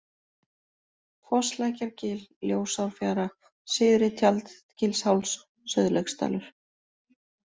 Fosslækjargil, Ljósárfjara, Syðri-Tjaldgilsháls, Sauðlauksdalur